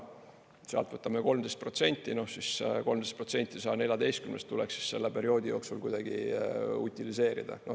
Sealt võtame 13%, siis see 13% 114-st tuleks selle perioodi jooksul kuidagi utiliseerida.